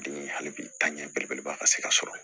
Den hali bi ta ɲɛ belebeleba ka se ka sɔrɔ